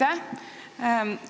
Aitäh!